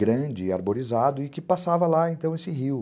grande, arborizado, e que passava lá, então, esse rio.